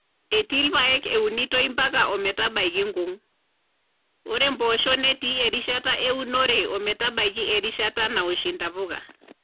Etii irpaek eunitoi ompaka o metabaiki nkung, ore mpoosho netii erishata eunore o metabaiki erishata nawosh intapuka.